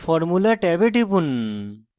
formula ট্যাবে টিপুন